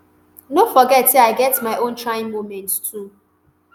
no forget say i get my own trying moments too